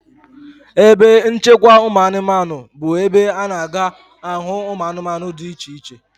Ebe nchekwa ụmụanụmanụ bụ ebe a na-aga ahụ ụmụanụmanụ dị iche iche.